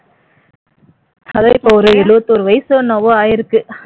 அதான் இப்ப ஒரு எழுவத்தோரு வயசோ என்னவோ ஆயிருக்கு